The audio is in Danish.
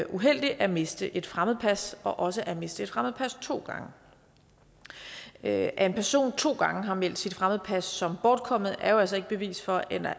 uheldig at miste et fremmedpas og også at miste et fremmedpas to gange at at en person to gange har meldt sit fremmedpas som bortkommet er jo altså ikke bevis for